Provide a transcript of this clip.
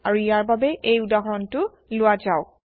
আৰু ইয়াৰ বাবে এই উদাহৰণটো লোৱা যাওক